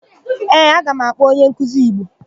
Ee, aga m akpọ onyenkuzi Igbo.